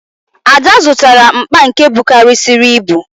Ada zụtara mkpa nke bukarịsịrị ibu